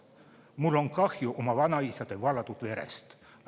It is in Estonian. Mul on kahju oma vanaisade valatud verest.